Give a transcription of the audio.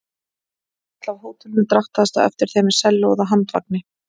Húskarl af hótelinu drattaðist á eftir þeim með sellóið á handvagni.